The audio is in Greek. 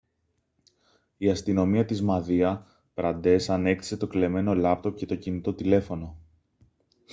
η αστυνομία της μαδία πραντές ανέκτησε το κλεμμένο λάπτοπ και το κινητό τηλέφωνο